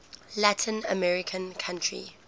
latin american country